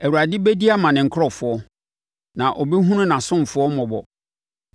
Awurade bɛdi ama ne nkurɔfoɔ na ɔbɛhunu nʼasomfoɔ mmɔbɔ.